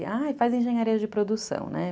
Ah, faz engenharia de produção, né?